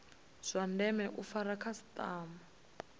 zwa ndeme u fara khasitama